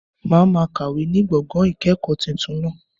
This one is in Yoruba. Màá ma kàwé ní gbọ̀ngàn ìkẹ̀kọ̀ọ́ tuntun náà